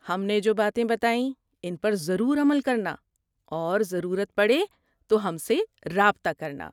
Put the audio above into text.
ہم نے جو باتیں بتائیں ان پر ضرور عمل کرنا اور ضرورت پڑے تو ہم سے رابطہ کرنا۔